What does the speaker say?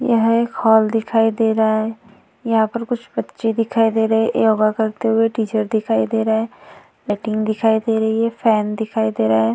यह एक हॉल दिखाई दे रहा है। यहाँ पर कुछ पक्षी दिखाई दे रहे हैं। योगा करते हुए टीचर दिखाई दे रहे हैं। दिखाई दे रही है। फैन दिखाई दे रहा है।